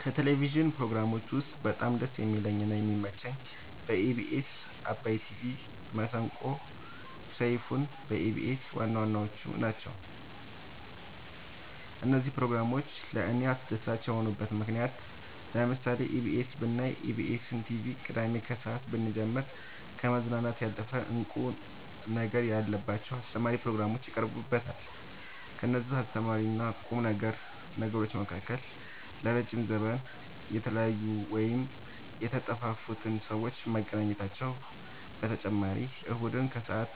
ከቴሌቭዥን ፕሮግራሞች ውስጥ በጣም ደስ የሚለኝ እና የሚመቸኝ ኢቢኤስ አባይ ቲቪ መሰንቆ ሰይፋን በኢቢኤስ ዋናዋናዎቹ ናቸው። እነዚህ ፕሮግራሞች ለእኔ አስደሳች የሆኑበት ምክንያት ለምሳሌ ኢቢኤስ ብናይ ኢቢኤስን ቲቪ ቅዳሜ ከሰአት ብንጀምር ከመዝናናት ያለፈ እንቁ ነገር ያለባቸው አስተማሪ ፕሮግራሞች ይቀርቡበታል ከእነዚህም አስተማሪና ቁም ነገሮች መካከል ለረዥም ዘመን የተለያዩን ወይም የተጠፋፉትን ሰዎች ማገናኘታቸው በተጨማሪም እሁድን ከሰአት